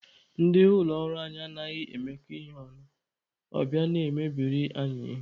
Ndị ụlọ ọrụ anyị anaghị emekọ ihe ọnụ, ọ bịa na-emebiri anyị ihe.